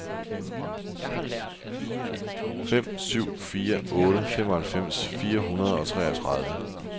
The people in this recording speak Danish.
fem syv fire otte femoghalvfems fire hundrede og treogtredive